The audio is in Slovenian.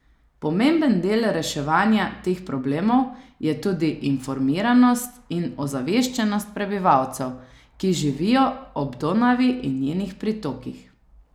Pomemben del reševanja teh problemov je tudi informiranost in ozaveščenost prebivalcev, ki živijo ob Donavi in njenih pritokih.